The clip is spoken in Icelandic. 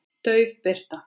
Dauf birta.